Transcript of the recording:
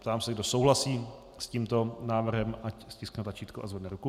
Ptám se, kdo souhlasí s tímto návrhem, ať stiskne tlačítko a zvedne ruku.